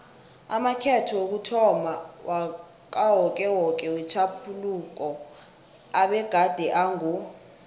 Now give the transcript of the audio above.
amakhetho wokuthomma wakawokewoke wetjhaphuluko abegade ango